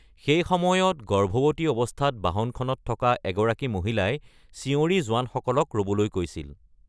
সেই সময়ত গৰ্ভৱতী অৱস্থাত বাহনখনত থকা এগৰাকী মহিলাই চিঞৰি জোৱানসকলক ৰ’বলৈ কৈছিল।